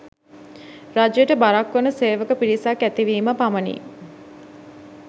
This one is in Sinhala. රජයට බරක් වන සේවක පිරිසක් ඇතිවීම පමණි.